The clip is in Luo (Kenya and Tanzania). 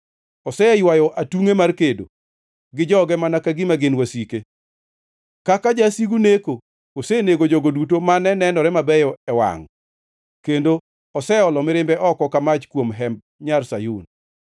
Oseywayo atungʼe mar kedo gi joge mana ka gima gin wasike. Kaka jasigu neko, osenego jogo duto mane nenore mabeyo e wangʼ, kendo oseolo mirimbe oko ka mach kuom hemb Nyar Sayun.